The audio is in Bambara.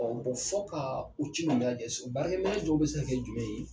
Ɔ bon fɔ kaa u ci ni lajɛ sɔn baara minɛn jɔ bi se ka kɛ jumɛn ye